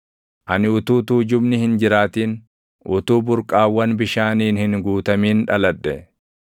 Ani utuu tuujubni hin jiraatin, utuu burqaawwan bishaaniin hin guutamin dhaladhe;